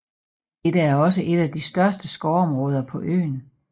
Dette er også et af de største skovområder på øen